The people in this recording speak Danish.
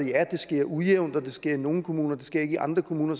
ja det sker ujævnt og det sker i nogle kommuner og det sker ikke i andre kommuner